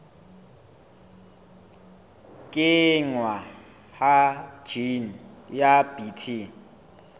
kenngwa ha jine ya bt